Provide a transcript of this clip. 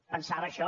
pensava això